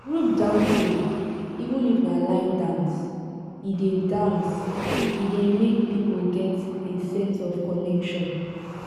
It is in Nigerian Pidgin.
group dancing even if na line dance e dey dance e dey make people get a sense of connection